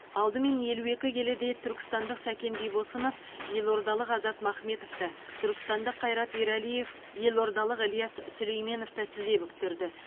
алдымен елу екі келіде түркістандық сәкен бибосынов елордалық азат махметовті түркістандық қайрат ерәлиев елордалық ілияс сүлейменовті тізе бүктірді